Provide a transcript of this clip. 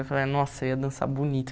Eu falei, nossa, eu ia dançar bonito.